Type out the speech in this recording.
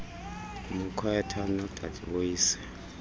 mkhwetha wodade boyise